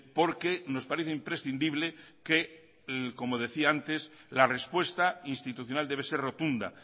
porque nos parece imprescindible que como decía antes la respuesta institucional debe ser rotunda